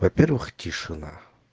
во-первых тишина